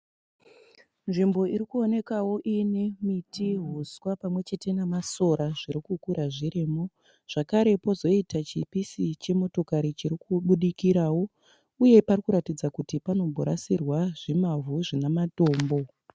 Nzvimbo irikuonekao ine miti huswa pamwe chete nemasora zvirikukura zvirimo zvakare pozoita chipisi chemotokari chirikubudikirao uye parikuratidza kuti panomborasirwa zvimavhu zvinematombo.